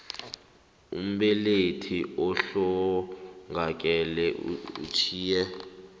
umbelethi ohlongakeleko utjhiye